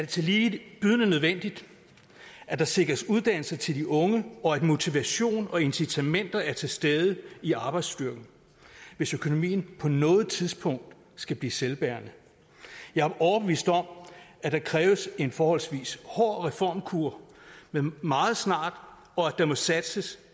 tillige bydende nødvendigt at der sikres uddannelser til de unge og at motivation og incitamenter er til stede i arbejdsstyrken hvis økonomien på noget tidspunkt skal blive selvbærende jeg er overbevist om at der kræves en forholdsvis hård reformkur meget snart og at der må satses